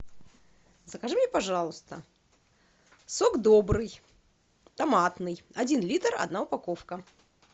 закажи мне пожалуйста сок добрый томатный один литр одна упаковка